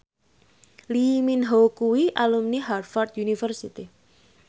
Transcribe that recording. Lee Min Ho kuwi alumni Harvard university